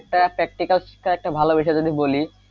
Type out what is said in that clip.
এ ~ একটা practical শিক্ষা যদি ভালোবেসে যদি বলি,